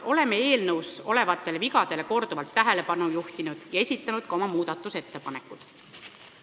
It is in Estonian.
Oleme eelnõus olevatele vigadele korduvalt tähelepanu juhtinud ja esitanud ka oma muudatusettepanekud.